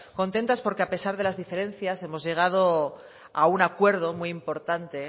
contestas porque a pesar de las diferencias hemos llegado a un acuerdo muy importante